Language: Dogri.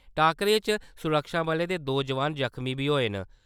टाक्करे च सुरक्षाबलें दे दो जोआन ज़ख्मी बी होए न।